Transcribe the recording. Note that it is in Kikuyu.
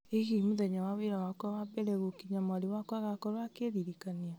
ĩ hihi mũthenya wa wĩra wakwa wa mbere gũkinya mwarĩ wakwa agakorwo akĩririkania